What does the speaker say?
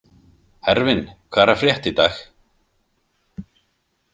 Hervin, hvað er að frétta í dag?